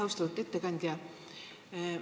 Austatud ettekandja!